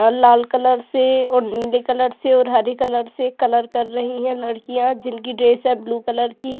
और लाल कलर से और नीले कलर से और हरे कलर से कलर कर रही हैं लड़कियाँ जिनकी ड्रेस है ब्लू कलर की।